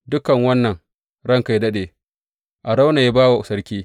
Dukan wannan, ranka yă daɗe, Arauna ya ba wa sarki.